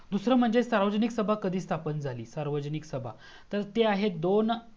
दूसरा म्हणजे सार्वजनिक सभा कधी स्थापन झाली सार्वजनिक सभा तर ते आहे दोन